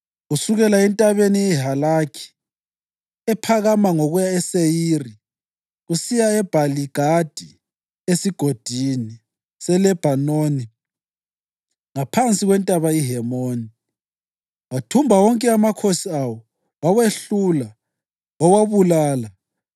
kusukela entabeni yeHalakhi, ephakama ngokuya eSeyiri, kusiya eBhali-Gadi esiGodini seLebhanoni ngaphansi kwentaba iHemoni. Wathumba wonke amakhosi awo, wawehlula, wawabulala.